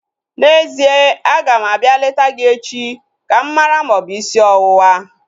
N'ezie, aga m abịa leta gị echi ka m mara ma ọ bụ isi ọwụwa